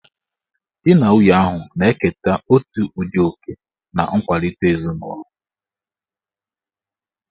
Di na nwunye ahụ na-eketa otu ụdị oke na nkwalite ezinụlọ